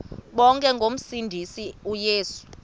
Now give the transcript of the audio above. bonke ngomsindisi uyesu